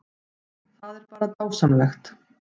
Það er bara dásamlegt